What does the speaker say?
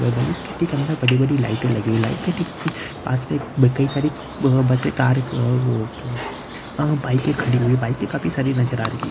बड़ी-बड़ी लाइटए लगे हैं लाइट क पास मैं एक कई सारी ब-बसे कारें आ वो आ बाइके खड़ी हुई हैं| बाइके काफी सारी नज़र आ रही है।